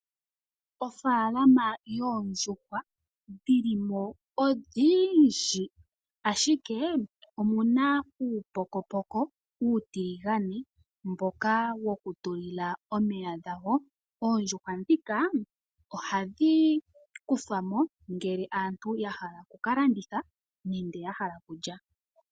Ofalama yOondjuhwa, oyo ehala ndyoka hamu kala muna Oondjuhwa odhindji, dhomaludhi gayolokathana nohadhi kala dha tuli lwamo uupokopoko moka ha mu kala omeya gadho. Oondjuhwa ohadhi ku thwamo una aantu ya hala oku ka landitha nenge ya hala okulya.